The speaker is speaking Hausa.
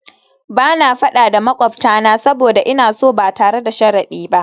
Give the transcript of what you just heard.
Ba na fada da makwabtana saboda ina so ba tare da sharadi ba